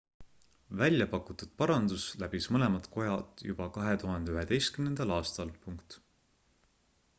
välja pakutud parandus läbis mõlemad kojad juba 2011 aastal